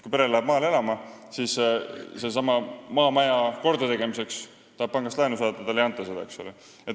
Kui pere läheb maale elama, siis tahab ta maamaja kordategemiseks pangast laenu saada, aga talle ei anta seda.